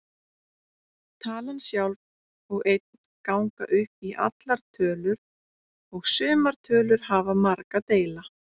Talan sjálf og einn ganga upp í allar tölur og sumar tölur hafa marga deila.